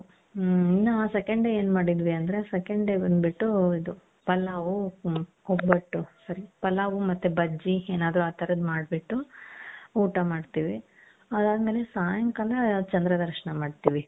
ಹ್ಮ್ ಇನ್ನು second day ಎನ್ ಮಾಡಿದ್ವಿ ಅಂದ್ರೆ second day ಬಂದ್ಬುಟ್ಟು ಇದು ಪಲಾವ್ ಒಬ್ಬಟು sorry ಪಲಾವ್ ಮತ್ತೆ ಬಜ್ಜಿ ಏನಾದ್ರು ಆ ತರದ್ ಮಾಡ್ಬುಟ್ಟು ಊಟ ಮಾಡ್ತಿವಿ ಅದದ್ಮೇಲೆ ಸಾಯಂಕಾಲ ಚಂದ್ರ ದರ್ಶನ ಮಾಡ್ತಿವಿ .